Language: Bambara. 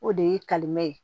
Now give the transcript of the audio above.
O de ye kalimɛ ye